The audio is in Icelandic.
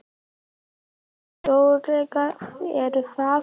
Við erum ekki öruggir er það?